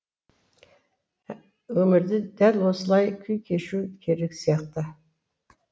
өмірде дәл осылай күй кешуі керек сияқты